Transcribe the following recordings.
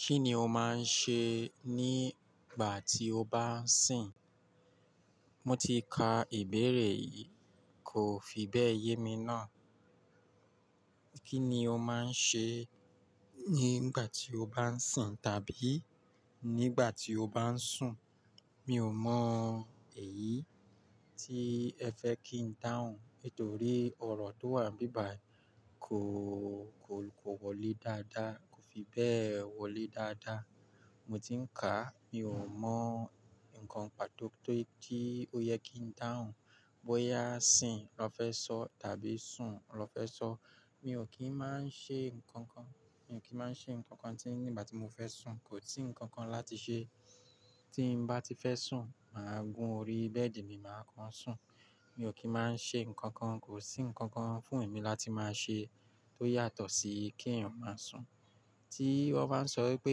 Kí ni o máa ń ṣe nígbà tí o bá ń sìn? Mo ti ka ìbéèrè yìí kò fi bẹ́ẹ̀ yé mi ná. Kí ni o máa ń ṣe nígbà tí o bá ń sìn tàbí nígbà tí o bá ń sùn? Mi ò mọ èyí tí ẹ fẹ́ kí n dáhùn, nítorí ọ̀rọ̀ tó wà nbibayi kò, kò, kò wọlé dáadáa, kò fi bẹ́ẹ̀ wọlé dáadáa. Mo ti ń kà á, mi ò mọ nǹkan pàtó tó yẹ kí ó yẹ kí n dáhùn. Bóyá sìn lọ fẹ́ sọ tàbí sùn lọ fẹ́ sọ. Mi ò kí ń máa ń ṣe nǹkan kan. Mi ò kí ń máa ń ṣe nǹkan kan tí nígbà tí mo fẹ́ sùn, kò sí nǹkan kan láti ṣe. Tí m bá ti fẹ́ sùn, mà á gún orí bẹ́ẹ̀dì mi, mà á kán sùn. Mi ò kí ń máa ń ṣe nǹkan kan, kò sí nǹkan kan fún èmi láti máa ṣe tó yàtọ̀ sí kí eyan máa sùn. Tí wọ́n bá ń sọ wípé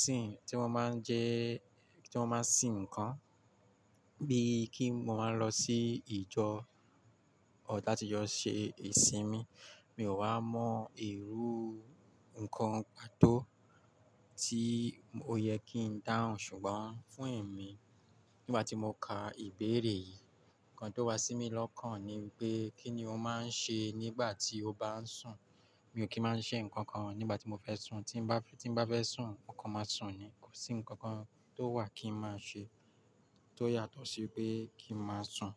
sìn, tí mo máa ń jẹ, tí mo máa ń sìn nǹkan bíi kí mo máa ń lọ sí ìjọ ọdátijọ ṣe ìsinmi, mi ò wá mọ̀ irú nǹkan pàtó tí ó yẹ kí n dáhùn, ṣùgbọ́n fún èmi nígbà tí mo ka ìbéèrè yìí, nǹkan tó wá sí mi lọ́kàn ni pé kí ni o máa ń ṣe nígbà tí o bá ń sùn? Mi ò kí ń máa ń ṣe nǹkan kan nígbà tí mo fẹ́ sùn. Tí m bá, tí m bá fẹ́ sùn, mo kàn máa sùn ni, kò sí nǹkan kan tó wà kí n máa ṣe tó yàtọ̀ sí pé kí n máa sùn.